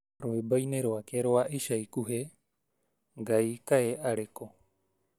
rwimbo-ĩnĩ rwake rwa ĩca ĩkuhĩ, Ngaĩ kaĩ arĩku?